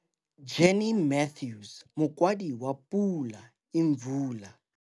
Jenny Mathews, Mokwadi wa Pula Imvula.